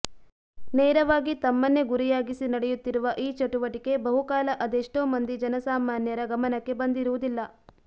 ನೇರವಾಗಿ ತಮ್ಮನ್ನೇ ಗುರಿಯಾಗಿಸಿ ನಡೆಯುತ್ತಿರುವ ಈ ಚಟುವಟಿಕೆ ಬಹುಕಾಲ ಅದೆಷ್ಟೋ ಮಂದಿ ಜನಸಾಮಾನ್ಯರ ಗಮನಕ್ಕೆ ಬಂದಿರುವುದಿಲ್ಲ